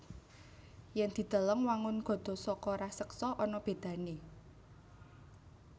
Yèn dideleng wangun gada saka raseksa ana bédané